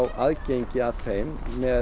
aðgengi að þeim með